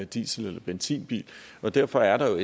diesel eller benzinbil og derfor er der jo